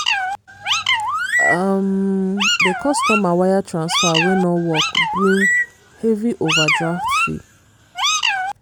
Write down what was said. um di customer wire transfer wey no work bring heavy overdraft fee.